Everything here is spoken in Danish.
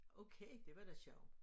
Okay det var da sjovt